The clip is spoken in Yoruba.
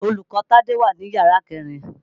Olùkọ́ Tádé wà ní yàrá kẹ̀rin.